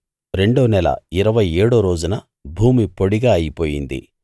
రెండో నెల ఇరవై ఏడో రోజున భూమి పొడిగా అయిపోయింది